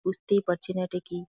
বুঝতেই পাচ্ছি না এটা কি।